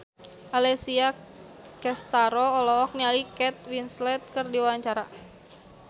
Alessia Cestaro olohok ningali Kate Winslet keur diwawancara